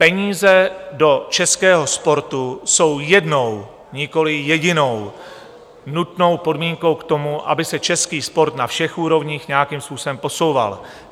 Peníze do českého sportu jsou jednou, nikoliv jedinou, nutnou podmínkou k tomu, aby se český sport na všech úrovních nějakým způsobem posouval.